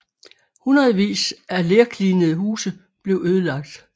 Hundredvis af lerklinede huse blev ødelagt